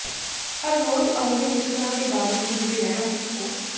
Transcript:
ਹਰ ਰੋਜ਼ ਆਉਂਦੇ ਮੁਸ਼ਕਲਾਂ ਦੇ ਬਾਵਜੂਦ ਵੀ ਰਹਿਣਾ ਸਿੱਖੋ